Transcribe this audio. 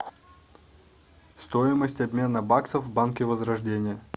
стоимость обмена баксов в банке возрождение